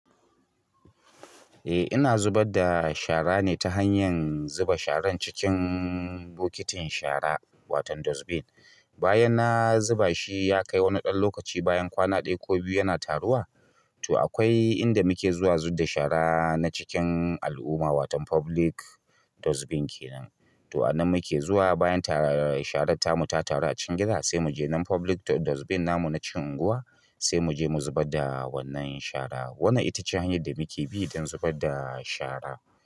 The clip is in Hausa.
Eh ina zubar da shara ne ta hanyar zuba sharan cikin bokitin shara wato dustbin. Bayan na zubashi yakai wani ɗan lokaci bayan kwana ɗaya ko biyu yana taruwa to akwai inda muke zuwa zub da shara na cikin al'umma wato public dustbin kenan. To anan muke zuwa bayan sharan tamu ta taru acikin gida sai muje nan public dustbin namu na cikin unguwa sai muje mu zubar da wannan shara. Wannan ita ce hanyar da muke bi don zubar da shara.